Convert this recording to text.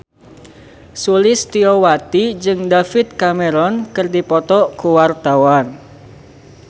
Sulistyowati jeung David Cameron keur dipoto ku wartawan